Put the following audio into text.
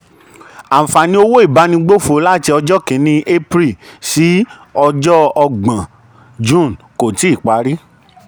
àǹfààní owó ìbánigbófò láti ọjọ́ kìíní april sí ọjọ́ ọgbọ̀n june kò tíì parí.